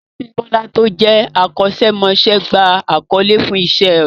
Abímbọ́lá tó jẹ́ akọ́ṣẹ́mọṣẹ́ gba àkọlé fún Iṣẹ́ rẹ̀